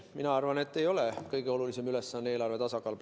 Mina arvan, et praegu ei ole kõige olulisem ülesanne eelarve tasakaal.